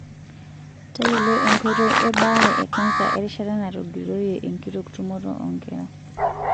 Tayiolo enkoitoi ebaare ekansa erishata natogiroyie enkitok tumoto oonkera.